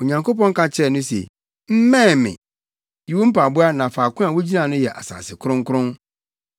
Onyankopɔn ka kyerɛɛ no se, “Mmɛn me. Yi wo mpaboa na faako a wugyina no yɛ asase kronkron.”